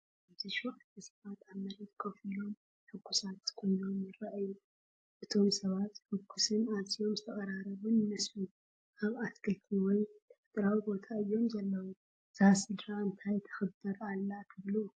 ኣብዚ ሸውዓተ ሰባት ኣብ መሬት ኮፍ ኢሎም ሕጉሳትን ኮይኖም ይረኣዩ። እቶም ሰባት ሕጉስን ኣዝዩ ዝተቐራረበን ይመስል። ኣብ ኣትክልትን ወይ ተፈጥሮኣዊ ቦታ እዮም ዘለዉ። እዛ ስድራ እንታይ ተክብር ኣላ ትብሉ?